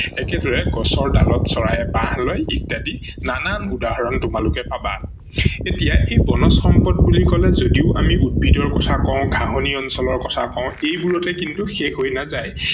একেদৰে গছৰ ডালত চৰাইয়ে বাহ লয় ইত্যাদি নানান উদাহৰন তোমালোকে পাবা ।এতিয়া সেই বনজ সম্পদ বুলি কলে যদিও আমি উদ্ভিদৰ কথা কও, ঘাহনি অঞ্চলৰ কথা কও এইবোৰতে কিন্তু শেষ হৈ নাযায়।